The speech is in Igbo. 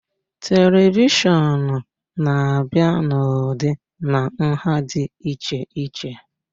Televishọn na-abịa n'ụdị na nha dị iche iche